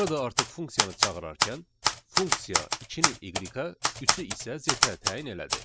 Burada artıq funksiyanı çağırarkən funksiya 2-ni y-ə, 3-ü isə z-ə təyin elədi.